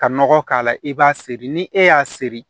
Ka nɔgɔ k'a la i b'a seri ni e y'a seri